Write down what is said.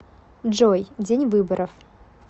джой день выборов